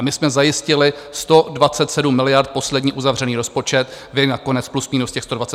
A my jsme zajistili 127 miliard poslední uzavřený rozpočet, vy nakonec plus minus těch 127 miliard taky.